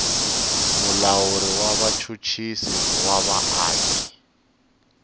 mulawuri wa vachuchisi va vaaki